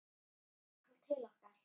Frænkan kom til okkar.